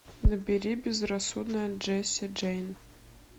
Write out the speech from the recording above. набери безрассудная джесси джейн